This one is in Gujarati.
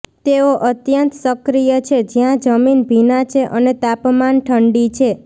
તેઓ અત્યંત સક્રિય છે જ્યાં જમીન ભીના છે અને તાપમાન ઠંડી છે